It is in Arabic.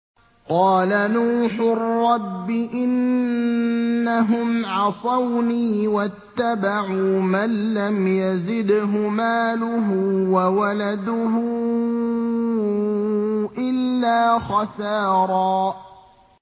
قَالَ نُوحٌ رَّبِّ إِنَّهُمْ عَصَوْنِي وَاتَّبَعُوا مَن لَّمْ يَزِدْهُ مَالُهُ وَوَلَدُهُ إِلَّا خَسَارًا